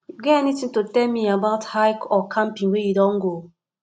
you get anything to tell me about hike or camping wey you don go